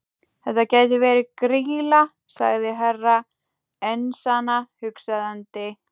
Þetta gæti verið Grýla, sagði Herra Enzana hugsandi.